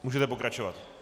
Můžete pokračovat.